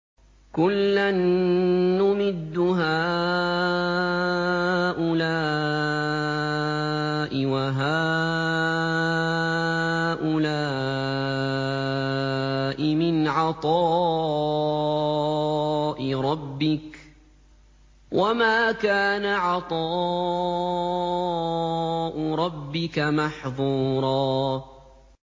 كُلًّا نُّمِدُّ هَٰؤُلَاءِ وَهَٰؤُلَاءِ مِنْ عَطَاءِ رَبِّكَ ۚ وَمَا كَانَ عَطَاءُ رَبِّكَ مَحْظُورًا